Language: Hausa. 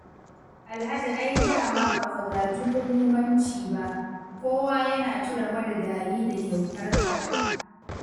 Alhaji ai da ma ba ka gaji ƙulumanci ba, kowa yana tuna marigayi da kyautarka